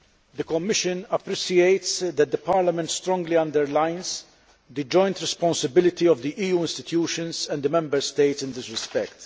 The Commission appreciates that Parliament strongly underlines the joint responsibility of the EU institutions and the Member States in this respect.